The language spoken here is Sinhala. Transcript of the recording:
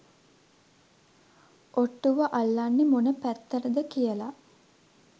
ඔට්ටුව අල්ලන්නෙ මොන පැත්තටද කියල